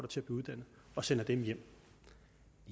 til blev uddannet og sender dem hjem